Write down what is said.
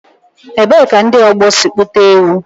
Ebee ka ndị ọgbọ si kpụta ewu?